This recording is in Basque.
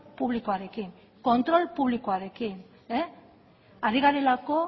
publikoarekin kontrol publikoarekin ari garelako